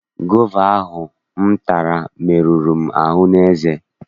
Gova ahụ m tara meruru m ahụ n'eze.